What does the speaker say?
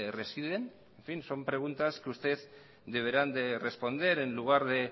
residen en fin son preguntas que usted deberán de responder en lugar de